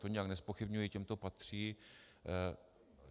To nijak nezpochybňuji, těm to patří.